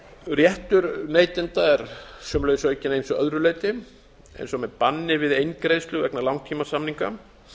réttur neytenda er sömuleiðis aukinn að ýmsu öðru leyti eins og með banni við eingreiðslu vegna langtímasamninga